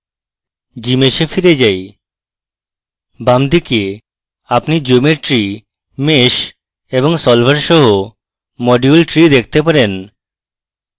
gmsh এ ফিরে যাই বাম দিকে আপনি geometry mesh এবং solver সহ module tree দেখতে পারেন